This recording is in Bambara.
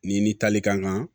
Ni ni tali ka kan